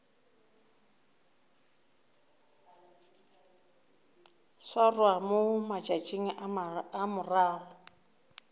swarwa mo matšatšing a morago